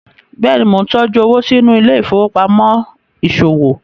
béèni món ntọjú owo sínú Ile-ifowopamọ iṣowo